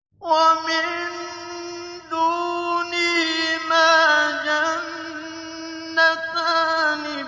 وَمِن دُونِهِمَا جَنَّتَانِ